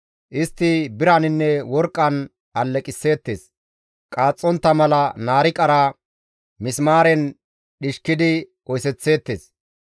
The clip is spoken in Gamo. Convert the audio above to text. Istti biraninne worqqan alleqisseettes; qaaxxontta mala naariqara misimaaren dhishkidi oyththeettes.